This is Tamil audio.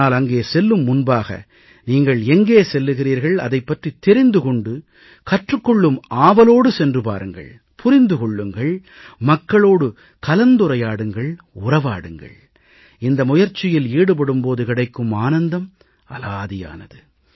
ஆனால் அங்கே செல்லும் முன்பாக நீங்கள் எங்கே செல்கிறீர்கள் அதைப் பற்றித் தெரிந்து கொண்டு கற்றுக் கொள்ளும் ஆவலோடு சென்று பாருங்கள் புரிந்து கொள்ளுங்கள் மக்களோடு கலந்துரையாடுங்கள் உறவாடுங்கள் இந்த முயற்சியில் ஈடுபடும் போது கிடைக்கும் ஆனந்தம் அலாதியானது